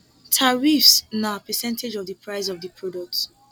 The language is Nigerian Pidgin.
tariffs na percentage of di price of di product